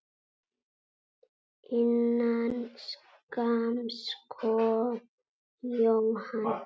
Innan skamms kom John.